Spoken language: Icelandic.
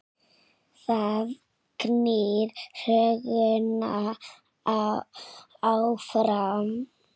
Það knýr söguna áfram